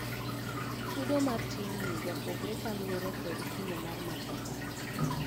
Chudo mar timni japogore kaluore kod kimo mar matoka